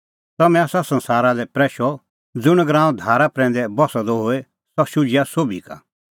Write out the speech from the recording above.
तम्हैं आसा संसारा लै प्रैशअ ज़ुंण गराअं धारा प्रैंदै बस्सअ द होए सह शुझिआ सोभी का